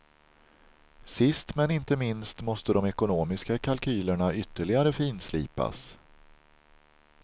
Sist men inte minst måste de ekonomiska kalkylerna ytterligare finslipas.